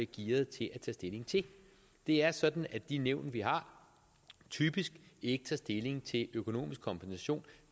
gearet til at tage stilling til det er sådan at de nævn vi har typisk ikke tager stilling til økonomisk kompensation